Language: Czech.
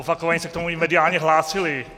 Opakovaně se k tomu i mediálně hlásili.